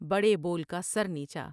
بڑے بول کا سر نیچا ۔